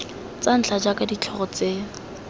tsa ntlha jaaka ditlhogo tse